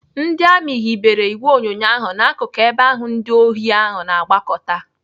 Ndị amị hibere ìgwè onyonyo ahụ n'akụkụ ebe ahụ ndị ohi ahụ na-agbakọta.